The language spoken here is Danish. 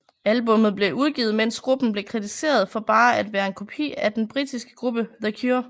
Albummet blev udgivet mens gruppen blev kritiseret for bare at være en kopi af den britiske gruppe The Cure